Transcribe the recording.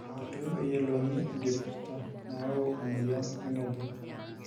eitu eyiolouni enkipirta nayau emoyian orng'ejep